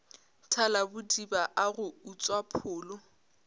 thalabodiba a go utswa pholo